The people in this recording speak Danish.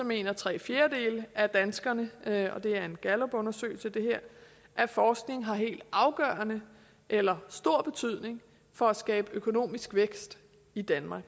mener tre fjerdedele af danskerne og det er fra en gallupundersøgelse at forskningen har helt afgørende eller stor betydning for at skabe økonomisk vækst i danmark